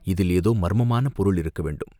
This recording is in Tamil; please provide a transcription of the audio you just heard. இதில் ஏதோ மர்மமான பொருள் இருக்க வேண்டும்!